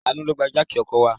Àánú ló gbé jáàkì ọkọ̀ wá.